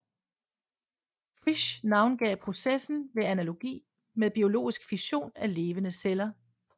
Frisch navngav processen ved analogi med biologisk fission af levende celler